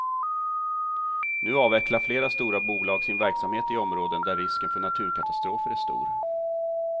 Nu avvecklar flera stora bolag sin verksamhet i områden där risken för naturkatastrofer är stor.